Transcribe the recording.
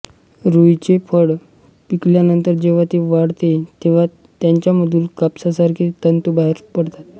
रुईचे फळ पिकल्यानंतर जेव्हा ते वाळते तेव्हा त्याच्यामधून कापसासारखे तंतू बाहेर पडतात